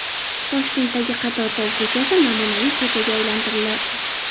Toshkentdagi Qatortol ko‘chasi namunaviy ko‘chaga aylantiriladi.